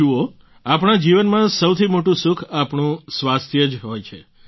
જુઓ આપણા જીવનમાં સૌથી મોટું સુખ આપણું સ્વાસ્થ્ય જ હોય છે